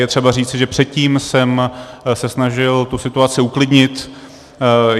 Je třeba říci, že předtím jsem se snažil tu situaci uklidnit.